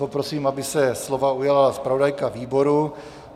Poprosím, aby se slova ujala zpravodajka výboru.